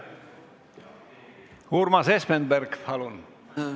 Urmas Espenberg, palun!